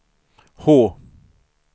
H